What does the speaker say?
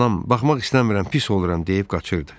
Anam baxmaq istəmirəm, pis oluram deyib qaçırdı.